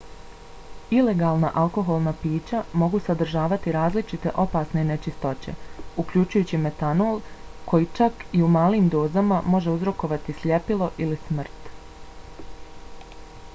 ilegalna alkoholna pića mogu sadržavati različite opasne nečistoće uključujući metanol koji čak i u malim dozama može uzrokovati sljepilo ili smrt